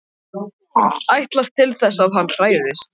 Ætlast til þess að hann hræðist.